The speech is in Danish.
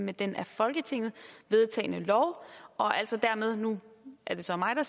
med den af folketinget vedtagne lov og altså dermed og nu er det så mig der